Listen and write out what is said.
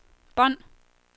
bånd